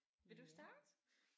Vil du starte?